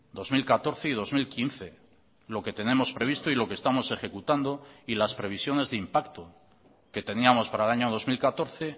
dos mil catorce y dos mil quince lo que tenemos previsto y lo que estamos ejecutando y las previsiones de impacto que teníamos para el año dos mil catorce